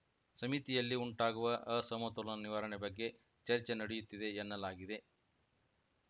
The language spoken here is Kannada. ಸಮಿತಿಯಲ್ಲಿ ಉಂಟಾಗುವ ಅಸಮತೋಲನ ನಿವಾರಣೆ ಬಗ್ಗೆ ಚರ್ಚೆ ನಡೆಯುತ್ತಿದೆ ಎನ್ನಲಾಗಿದೆ